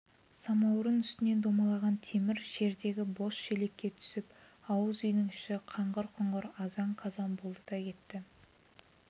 самаурын үстінен домалаған темір жердегі бос шелекке түсіп ауыз үйдің іші қаңғыр-құңғыр азан-қазан болды да кетті